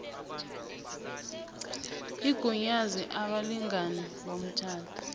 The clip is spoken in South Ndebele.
igunyaze abalingani bomtjhado